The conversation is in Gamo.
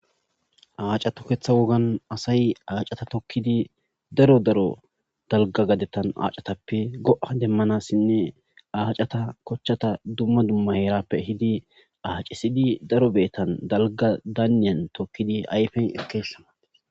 Aacati toketha wogani assayi daro daro daliga gadetani aacatua tokkidi daro dalgga gaden tikkidi izape go7a demoosona acata kochata duma duma yarape ehidi acisidi daro betani daniyani tokidi ayifeni ekws